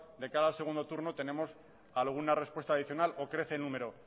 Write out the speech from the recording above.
de cara al segundo turno tenemos alguna respuesta adicional o crece el número